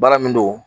Baara min don